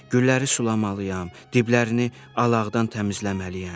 Gülləri sulamalıyam, diblərini alaqdan təmizləməliyəm.”